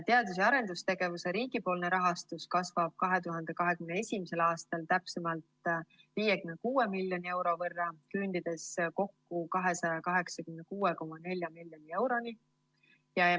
Teadus‑ ja arendustegevuse riigipoolne rahastus kasvab 2021. aastal täpsemalt 56 miljoni euro võrra, küündides kokku 286,4 miljoni euroni.